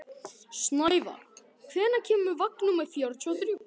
Snævarr, hvenær kemur vagn númer fjörutíu og þrjú?